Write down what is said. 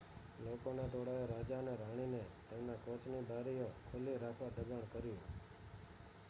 લોકોના ટોળાએ રાજા અને રાણીને તેમના કોચની બારીઓ ખુલ્લી રાખવા દબાણ કર્યું